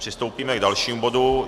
Přistoupíme k dalšímu bodu.